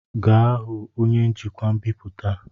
Gaa hụ onye njikwa mbipụta!